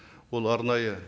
ол арнайы